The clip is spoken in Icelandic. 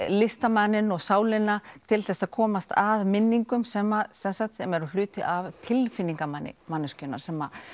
listamanninn og sálina til þess að komast að minningum sem sem eru hluti af tilfinningum manneskjunnar sem